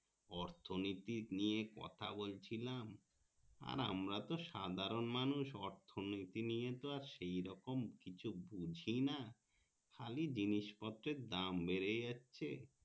অর্থনীতি নিয়ে কথা বলছিলাম আর আমরা তো সাধারণ মানুষ অর্থনীতি নিয়ে তো আর সেইরকম বুঝিনা খালি জিনিস পত্তের দাম বেড়ে যাচ্ছে